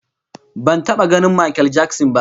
Ban taba ganin Makel Jakson ba